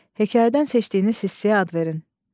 Hekayədən seçdiyiniz hissəyə ad verin.